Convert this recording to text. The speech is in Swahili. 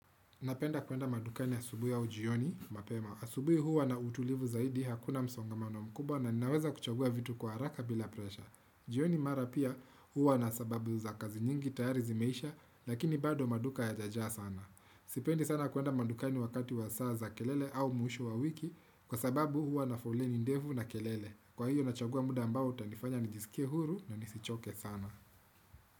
Napenda kuenda madukani asubui aujioni, mapema. Asubui huwa na utulivu zaidi hakuna msongamano mkubwa na ninaweza kuchagua vitu kwa haraka bila presha. Jioni mara pia huwa na sababu za kazi nyingi tayari zimeisha, lakini bado maduka ya jajaa sana. Sipendi sana kuenda madukani wakati wa saa za kelele au muushu wa wiki kwa sababu huwa na foleni ndevu na kelele. Kwa hio nachagua muda ambao utanifanya nijisikie huru ndio nisichoke sana.